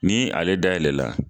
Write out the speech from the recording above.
Ni ale dayɛlɛ la